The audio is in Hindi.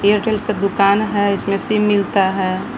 एयरटेल का दुकान है इसमें सिम मिलता है।